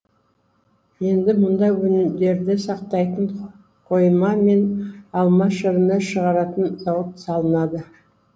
енді мұнда өнімдерді сақтайтын қойма мен алма шырынын шығаратын зауыт салынады